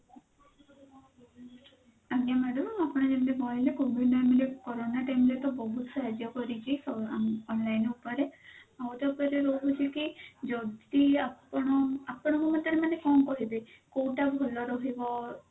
ଆଜ୍ଞା madam ଆପଣ ଯେମିତି କହିଲେ COVID time corona time ରେ ତ ବହୁତ ସାହାଯ୍ୟ କରିଛି ଅ online ଉପରେ ଆଉ ତାପରେ ରହୁଛି କି ଯଦି ଆପଣ ଆପଣ ଙ୍କ ମତ ରେ ମାନେ କଣ କହିବେ କଉଟା ଭଲ ରହିବ?